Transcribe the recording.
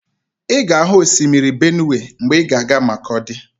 Ị ga-ahụ osimiri Benụwe mgbe ị ga-aga Makọdi